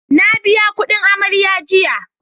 Na biya kudin amarya jiya